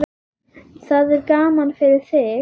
Það er gaman fyrir þig.